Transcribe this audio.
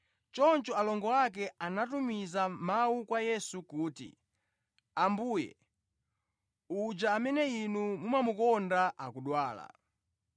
Choncho alongo ake anatumiza mawu kwa Yesu kuti, “Ambuye, uja amene Inu mumamukonda akudwala.”